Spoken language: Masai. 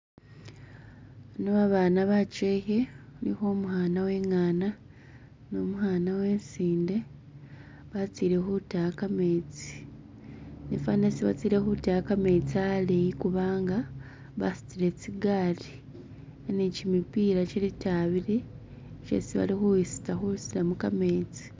Bano babana bachehe khulikho umwana wekhana nu mukhana wesinde batsile khutaya khametsi ifana hestsi batsile khutaya khametsi khaleyi kubanga basutile tsigali ni chimipila che lita abili chesi balikhutsa husutilamo khametsi